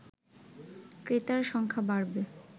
ক্রেতার সংখ্যা বাড়বে